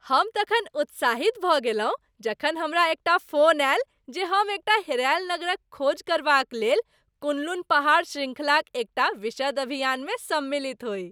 हम तखन उत्साहित भऽ गेलहुँ जखन हमरा एकटा फोन आयल जे हम एकटा हेरायल नगरक खोज करबाक लेल कुन लुन पहाड़ शृंखलाक एकटा विशद अभियानमे सम्मिलित होइ।